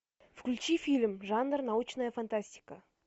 включи фильм жанр научная фантастика